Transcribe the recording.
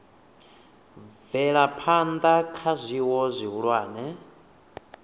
bvela phana kha zwiwo zwihulwane